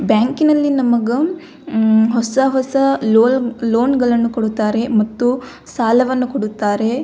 ಬ್ಯಾಂಕಿನಲ್ಲಿ ನಮಗ ಅ ಹೊಸ ಹೊಸ ಲೋನ್ ಗಳನ್ನು ಕೊಡುತ್ತಾರೆ ಮತ್ತು ಸಾಲವನ್ನು ಕೊಡುತ್ತಾರೆ.